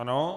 Ano.